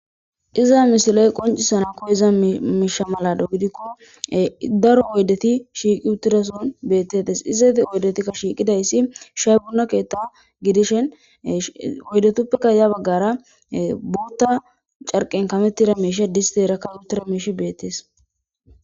Iza misiley qoncisana koyiza misha mala gidikon keeh daro oydet shiq utida sohon betetes.izet oydetika shiqidays shaye buna kethe gidishin oydetupeka ya bagara bota carqen kametida mishiy disteraka utida Mishy betes.